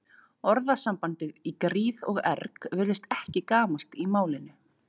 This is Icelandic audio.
Orðasambandið í gríð og erg virðist ekki gamalt í málinu.